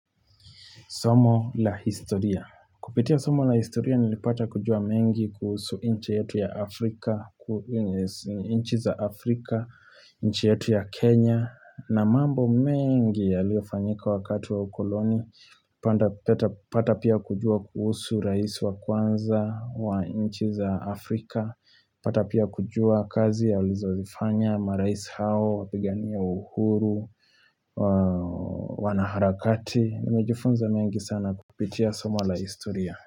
Somo la historia. Kupitia somo la historia nilipata kujua mengi kuhusu nchi yetu ya Afrika, nchi za Afrika, nchi yetu ya Kenya na mambo mengi yaliofanyika wakati wa ukoloni pata pia kujua kuhusu rais wa kwanza wa nchi za Afrika pata pia kujua kazi ya walizozifanya marais hao, wapigania uhuru, wanaharakati Nimejufunza mengi sana kupitia somo la historia.